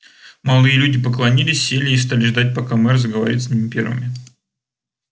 молодые люди поклонилась сели и стали ждать пока мэр заговорит с ними первыми